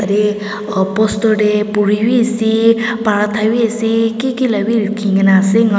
te poster tae puri bi ase parathabi ase kiki la bi likhina ase enika kurina.